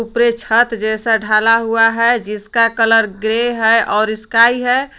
उपरे छत जैसा ढाला हुआ है जिसका कलर ग्रे है और स्काई है।